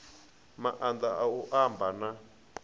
maanḓa a u amba na